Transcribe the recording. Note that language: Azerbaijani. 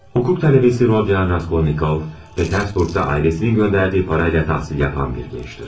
Hüquq tələbəsi Rodion Raskolnikov, Petersburqda ailəsinin göndərdiyi parayla təhsil yapan bir gəncdir.